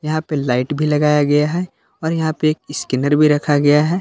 यहा पे लाइट भी लगाया गया है और यहां पे एक स्कैनर भी रखा गया है।